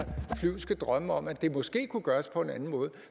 flyvske drømme om at det måske kunne gøres på en anden måde